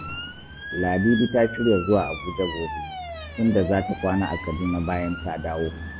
Ladidi ta shirya zuwa Abuja gobe, inda za ta kwana a Kaduna bayan ta dawo